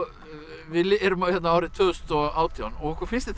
við erum hérna árið tvö þúsund og átján og okkur finnst þetta